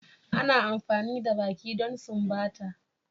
Ana amfani da baki don sumbata.